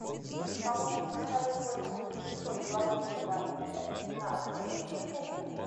помощник подскажи сколько будет шестьсот в белорусской валюте на английские фунты